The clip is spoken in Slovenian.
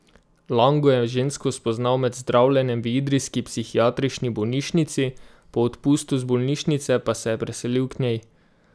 Lango je žensko spoznal med zdravljenjem v idrijski psihiatrični bolnišnici, po odpustu iz bolnišnice pa se je preselil k njej.